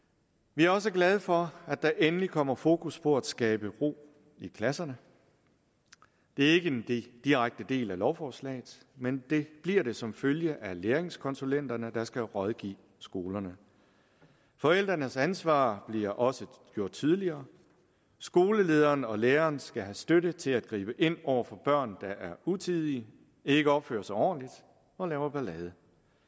vi er også glade for at der endelig kommer fokus på at skabe ro i klasserne det er ikke en direkte del af lovforslaget men det bliver det som følge af læringskonsulenterne der skal rådgive skolerne forældrenes ansvar bliver også gjort tydeligere skolelederen og læreren skal have støtte til at gribe ind over for børn der er utidige ikke opfører sig ordentligt og laver ballade